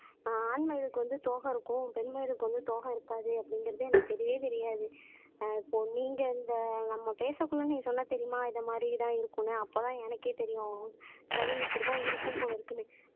ஆண் மயில் இதுக்கு வந்து தோகம் இருக்கும் பெண் மயிலுக்கு வந்து தோகம் இருக்காது அப்படிங்கிறது எனக்கு தெரியவே தெரியாது ஆஹ் இப்போ நீங்க இந்த நம்ம பேசக்குள்ள நீ சொன்ன தெரியுமா இது மாதிரி தான் இருக்கணும் அப்பதான் எனக்கே தெரியும் சரி இப்படித்தான் இருக்கும் போல இருக்குன்னு